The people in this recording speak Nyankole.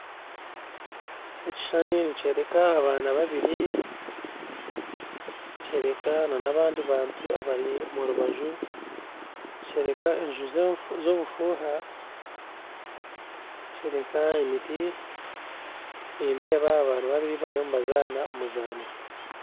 Ekishushani nikyoreka abaana babiri nikyoreka n'abandi bantu abari omurubaju nikyoreka enju z'obufuuha nikyoreka emiti nindeeba abaana babiri bariyo nibazaana omuzaano